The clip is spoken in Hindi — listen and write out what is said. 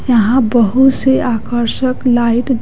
यहाँ बहुत सी आकर्षक लाइट --